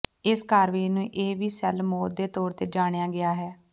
ਇਸ ਕਾਰਵਾਈ ਨੂੰ ਇਹ ਵੀ ਸੈੱਲ ਮੌਤ ਦੇ ਤੌਰ ਤੇ ਜਾਣਿਆ ਗਿਆ ਹੈ